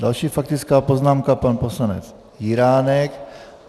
Další faktická poznámka, pan poslanec Jiránek.